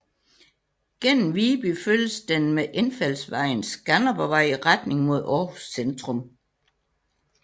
Gennem Viby følges den med indfaldsvejen Skanderborgvej i retning mod Aarhus centrum